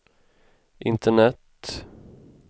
internet